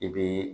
I bi